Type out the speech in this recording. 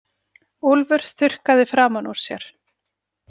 Úlfur þurrkaði framan úr sér.